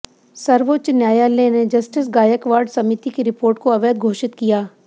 सर्वोच्च न्यायालय ने जस्टिस गायकवाड समिति की रिपोर्ट को अवैध घोषित किया